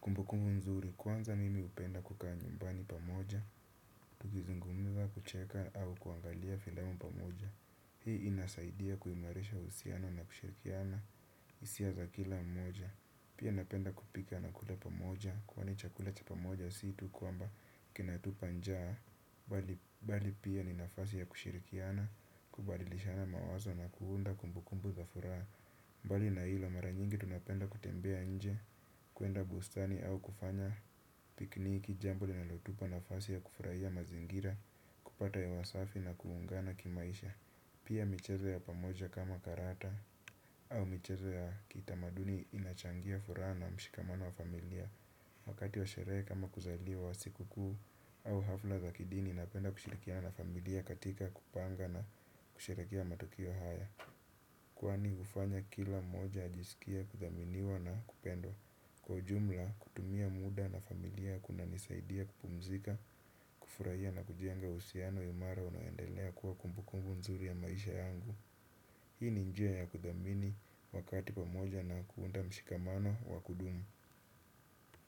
kumbukumbu nzuri kwanza mimi upenda kukaa nyumbani pamoja. Tukizungumza kucheka au kuangalia filamu pamoja. Hii inasaidia kuimarisha husiano na kushirikiana isia za kila mmoja. Pia napenda kupika na kula pamoja kwani chakula cha pamoja si tu kwamba kinatupa njaa bali pia ni nafasi ya kushirikiana, kubadilishana mawazo na kuunda kumbukumbu za furaha. Bali na hilo mara nyingi tunapenda kutembea nje, kuenda bustani au kufanya pikniki, jambo linalotupa nafasi ya kufurahia mazingira, kupata hewa safi na kuungana kimaisha. Pia michezo ya pamoja kama karata au michezo ya kitamaduni inachangia furaha na mshikamano wa familia. Wakati wa sherehe kama kuzaliwa siku kuu au hafla za kidini napenda kushirikiana na familia katika kupanga na kusherekea matokeo haya. Kwani ufanya kila mmoja ajisikie kuthaminiwa na kupendwa. Kwa ujumla kutumia muda na familia kunanisaidia kupumzika, kufurahia na kujenga uhusiano imara unaendelea kuwa kumbukumbu nzuri ya maisha yangu. Hii ni njia ya kuthamini wakati pamoja na kuunda mshikamano wa kudumu.